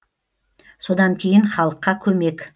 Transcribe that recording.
содан кейін халыққа көмек